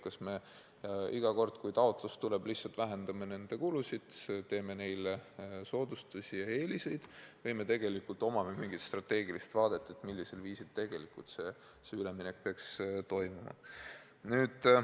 Kas me iga kord, kui taotlus tuleb, lihtsalt vähendame nende kulusid, teeme neile soodustusi ja anname neile eeliseid või meil on mingi strateegiline vaade, millisel viisil vajalik üleminek peaks toimuma.